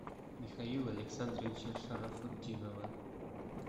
михаила александровича шарафутдинова